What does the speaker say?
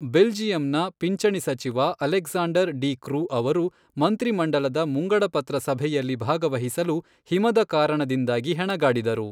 ಬೆಲ್ಜಿಯಮ್‌ನ ಪಿಂಚಣಿ ಸಚಿವ Alexander De Croo ಅವರು ಮಂತ್ರಿಮಂಡಲದ ಮುಂಗಡಪತ್ರ ಸಭೆಯಲ್ಲಿ ಭಾಗವಹಿಸಲು ಹಿಮದ ಕಾರಣದಿಂದಾಗಿ ಹೆಣಗಾಡಿದರು.